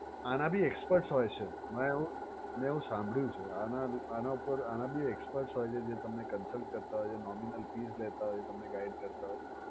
આના ભી experts હોય છે મે એવું સાંભળ્યું છે આના ઉપર આના ભી experts હોય છે જે તમને cousult કરતાં હોય છે nominal fees લેતા હોય છે તમને guide કરતાં હોય છે.